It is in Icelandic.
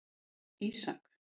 Ísak